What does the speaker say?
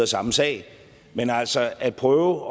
samme sag men altså at prøve